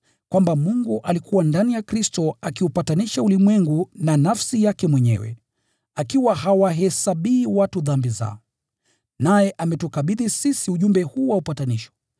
Kwamba Mungu alikuwa ndani ya Kristo akiupatanisha ulimwengu na nafsi yake mwenyewe, akiwa hawahesabii watu dhambi zao. Naye ametukabidhi sisi ujumbe huu wa upatanisho.